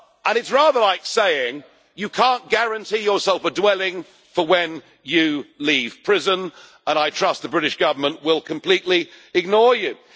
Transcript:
It is rather like saying you cannot guarantee yourself a dwelling for when you leave prison and I trust the British Government will completely ignore you.